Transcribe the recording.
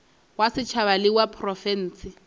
wa setšhaba le wa profense